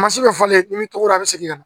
bɛ fɔlen cogo dɔ bɛ segin ka na